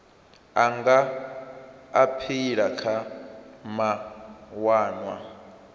a nga aphila kha mawanwa